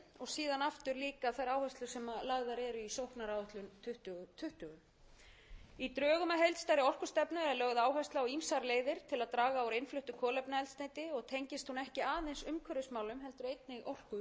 síðan aftur líka þær áherslur sem lagðar eru í sóknaráætlun tvö þúsund tuttugu í drögum að heildstæðri orkustefnu er lögð áhersla á ýmsar leiðir til að draga úr innfluttu kolefnaeldsneyti og tengist hún ekki aðeins umhverfismálum heldur einnig orkuöryggi